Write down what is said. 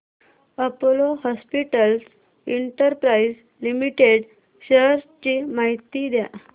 Apollo Hospitals Enterprise Limited shares ची माहिती द्या